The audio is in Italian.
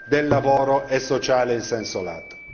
del lavoro e sociale in senso lato.